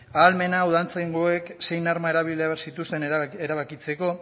ahalmena udaltzaingoek zein arma erabili behar zituzten erabakitzeko